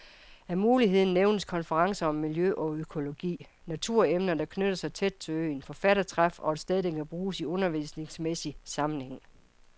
Af mulighederne nævnes konferencer om miljø og økologi, naturemner, der knytter sig tæt til øen, forfattertræf og et sted der kan bruges i undervisningsmæssig sammenhæng.